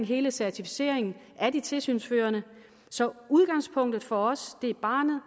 hele certificeringen af de tilsynsførende så udgangspunktet for os er barnet